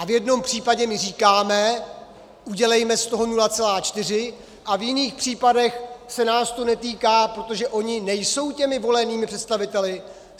A v jednom případě říkáme "udělejme z toho 0,4", a v jiných případech se nás to netýká, protože oni nejsou těmi volenými představiteli?